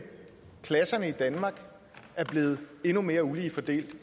klasserne i danmark blevet endnu mere ulige fordelt